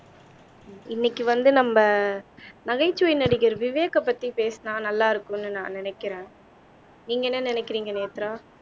இன்னைக்கு வந்து நம்ம நகைச்சுவை நடிகர் விவேக்கை பத்தி பேசுனா நல்லா இருக்கும்னு நான் நினைக்கிறேன் நீங்க என்ன நினைக்கிறீங்க நேத்ரா